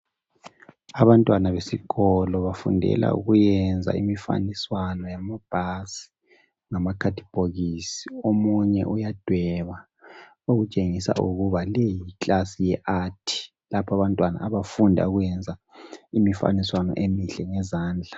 Abantwana besikolo bafundela ukuyenza imifaniswano yamabhasi ngamakhadibhokisi omunye uyadweba okutshengisa ukuba leyi yiclass yeArt lapho abantwana abafunda ukuyenza imifaniswano emihle ngezandla